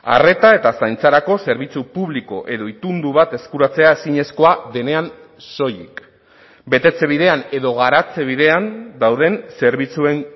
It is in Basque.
arreta eta zaintzarako zerbitzu publiko edo itundu bat eskuratzea ezinezkoa denean soilik betetze bidean edo garatze bidean dauden zerbitzuen